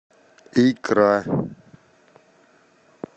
икра